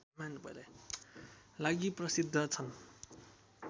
लागि प्रसिद्ध छन्